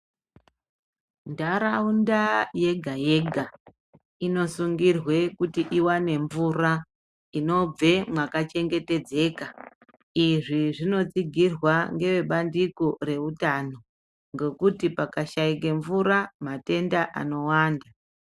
Ntaraunda yega -yega inosungirwe kuti iwane mvura inobve mwakachengetedzeka. Izvi zvinotsigirwa ngeve bandiko reutano ngekuti pakashaike mvura matenda anowanda.